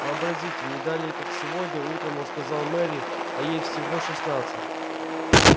вообразите не далее как сегодня утром он сказал мэри а ей всего шестнадцать